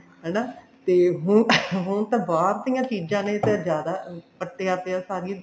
ਹਨਾ ਤੇ ਹੁਣ ਹੁਣ ਤੇ ਬਾਹਰ ਦੀਆਂ ਚੀਜ਼ਾਂ ਨੇ ਤੇ ਜਿਆਦਾ ਪੱਟਿਆ ਪਿਆ ਸਾਰੀ